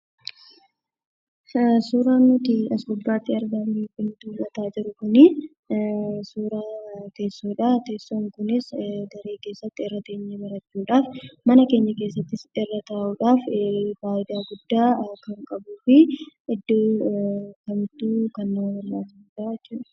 Suuraan nuti as gubbaatti argaa jirru kun suuraa teessoodha. Teessoon kunis kan irra teenyee barannudha. Mana keenya keessattis irra taa'uudhaaf fayidaa guddaa kan qabuu fi kan iddoo guddaa qabudha jechuudha.